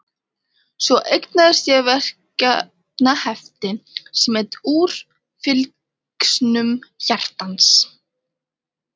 Svo eignaðist ég verkefnahefti sem hét Úr fylgsnum hjartans.